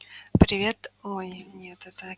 привет ой нет это